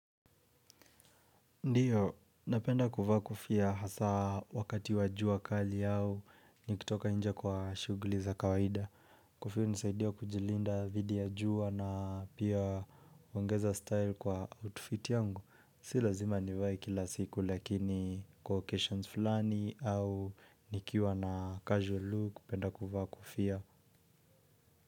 Ndiyo, napenda kuvaa kofia hasa wakati wa jua kali au nikitoka nje kwa shughuli za kawaida Kofia hunisaidia kujilinda dhidi ya jua na pia kuongeza style kwa outfit yangu. Si lazima nivae kila siku lakini kwa occasions fulani au nikiwa na casual look, napenda kuvaa kofia.